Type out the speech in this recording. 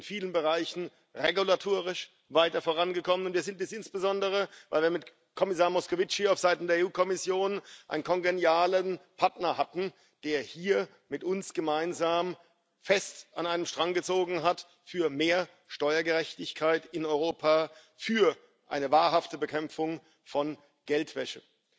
Wir sind in vielen Bereichen regulatorisch weiter vorangekommen, und wir sind es insbesondere, weil wir mit Kommissar Moscovici auf Seiten der EU Kommission einen kongenialen Partner hatten, der hier mit uns gemeinsam fest an einem Strang gezogen hat für mehr Steuergerechtigkeit in Europa, für eine wahrhafte Bekämpfung von Geldwäsche.